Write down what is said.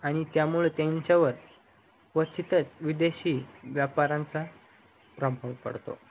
आणि त्यामुळे त्यांच्यावर व तिथच विदेशी व्यापारांचा प्रभाव पडतो